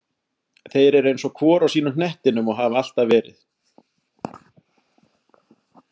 Þeir eru eins og hvor á sínum hnettinum og hafa alltaf verið.